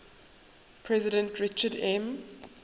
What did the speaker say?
president richard m